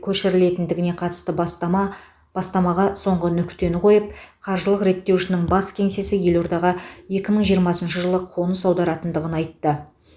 көшірілетіндігіне қатысты бастама бастамаға соңғы нүктені қойып қаржылық реттеушінің бас кеңсесі елордаға екі мың жиырмасыншы жылы қоныс аударатындығын айтты